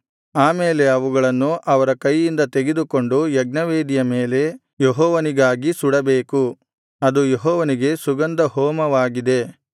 ಆಮೇಲೆ ಅವುಗಳನ್ನು ಅವರ ಕೈಯಿಂದ ತೆಗೆದುಕೊಂಡು ಯಜ್ಞವೇದಿಯ ಮೇಲೆ ಯೆಹೋವನಿಗಾಗಿ ಸುಡಬೇಕು ಅದು ಯೆಹೋವನಿಗೆ ಸುಗಂಧ ಹೋಮವಾಗಿದೆ